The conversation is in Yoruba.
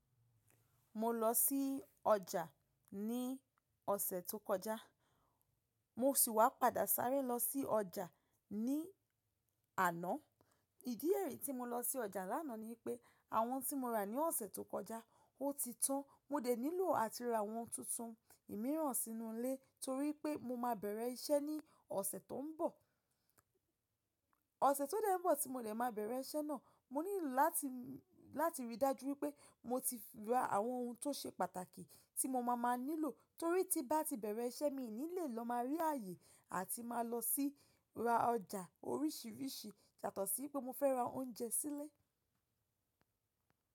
Mo lọ sí ọjà ní ọ̀sẹ̀ tó kọjá, mo sì wá padà sáré lọ sí ọjà ní àná. Ìdí re tí mo lọ sí ọjà lánàá ni pé àwọn tí mo rà ní ọ̀sẹ̀ tó kọjá, ó ti tán, mo dẹ̀ nílò àti ra àwọn tuntun mìíràn sínú ilé torí pé mo máa bẹ̀rẹ̀ iṣẹ́ ní ọ̀sẹ̀ tó ń bọ̀. Ọ̀sẹ̀ tó dẹ́ n bọ̀ tí mo lè máa bẹ̀rẹ̀ iṣẹ́ náà, mo nílò láti, láti rí i dájú pé mo ti ra àwọn ohun tó ṣe pàtàkì tí mo máa máa nílò torí tí bá ti bẹ̀rẹ̀ iṣẹ́ mi ni lè lọ máa rí ààyè àti máa lọ sí ra ọjà oríṣiríṣi, yàtọ̀ sí pé mo fẹ́ ra oúnjẹ sí ilé.